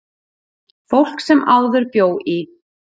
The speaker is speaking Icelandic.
Fólk sem áður bjó í